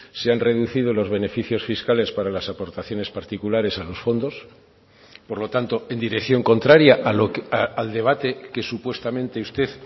se han reducido los beneficios fiscales para las aportaciones particulares a los fondos por lo tanto en dirección contraria al debate que supuestamente usted